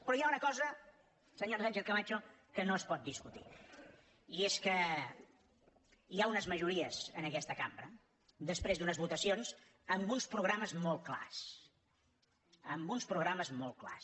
però hi ha una cosa senyora sánchez camacho que no es pot discutir i és que hi ha unes majories en aquesta cambra després d’unes votacions amb uns programes molt clars amb uns programes molt clars